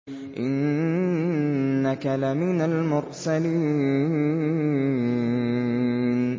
إِنَّكَ لَمِنَ الْمُرْسَلِينَ